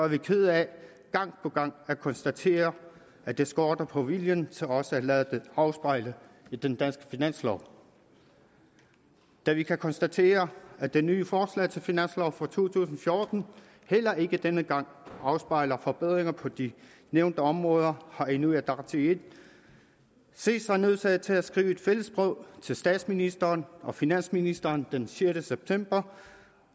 vi kede af gang på gang at konstatere at det skorter på viljen til også at lade det afspejle i den danske finanslov da vi kan konstatere at det nye forslag til finanslov for to tusind og fjorten heller ikke denne gang afspejler forbedringer på de nævnte områder har inuit ataqatigiit set sig nødsaget til at skrive et fælles brev til statsministeren og finansministeren den sjette september